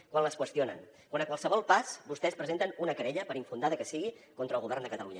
quan les qüestionen quan a qualsevol pas vostès presenten una querella per infundada que sigui contra el govern de catalunya